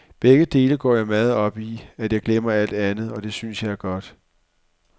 Begge dele går jeg så meget op i, at jeg glemmer alt andet, og det synes jeg er godt.